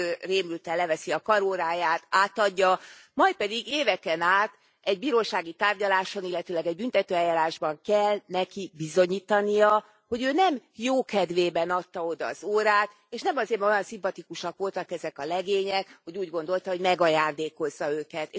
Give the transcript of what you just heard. Ő rémülten leveszi a karóráját, átadja, majd pedig éveken át egy bírósági tárgyaláson, illetőleg egy büntetőeljárásban kell neki bizonyítania, hogy ő nem jókedvében adta oda az órát, és nem azért, mert olyan szimpatikusak voltak ezek a legények, hogy úgy gondolta, hogy megajándékozza őket.